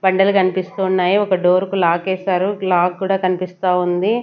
బండలు కనిపిస్తూ ఉన్నాయి ఒక డోర్ కి లాక్ ఎసారు లాక్ కూడా కనిపిస్తా ఉంది.